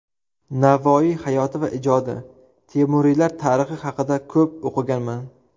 Navoiy hayoti va ijodi, Temuriylar tarixi haqida ko‘p o‘qiganman.